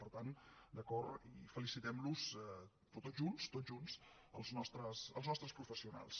per tant d’acord i felicitem los però tots junts tots junts els nostres professionals